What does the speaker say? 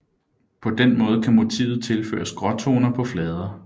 På den måde kan motivet tilføres gråtoner på flader